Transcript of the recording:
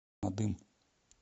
надым